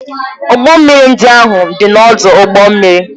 Ụgbọ mmiri ndị ahụ dị n'ọdụ ụgbọ mmiri.